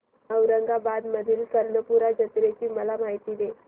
औरंगाबाद मधील कर्णपूरा जत्रेची मला माहिती दे